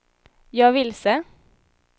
jag är vilse